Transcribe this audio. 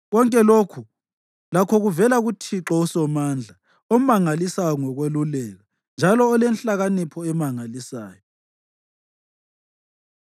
Konke lokhu lakho kuvela kuThixo uSomandla omangalisayo ngokweluleka, njalo olenhlakanipho emangalisayo.